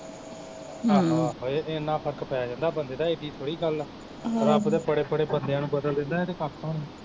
ਆਹੋ ਆਹੋ ਏਨਾਂ ਫਰਕ ਪੈ ਜਾਂਦਾ ਬੰਦੇ ਨੂੰ, ਏਡੀ ਥੋੜੀ ਗੱਲ ਹਮ ਰੱਬ ਤੇ ਬੜੇ ਬੜੇ ਬੰਦਿਆ ਨੂੰ ਬਦਲ ਦਿੰਦਾ ਏਹ ਤੇ ਕੱਖ ਵੀ ਨੀ